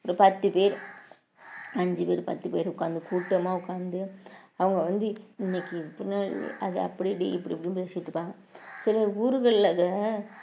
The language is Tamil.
ஒரு பத்து பேர் அஞ்சு பேர் பத்து பேர் உட்கார்ந்து கூட்டமா உட்கார்ந்து அவங்க வந்து இன்னைக்கு பின்னாடி அதை அப்படி டி இப்படி இப்படின்னு பேசிட்டு இருப்பாங்க சில ஊர்கள்ல அத